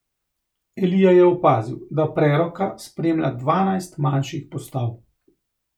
Elija je opazil, da preroka spremlja dvanajst manjših postav.